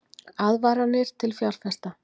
Aðvaranir til fjárfesta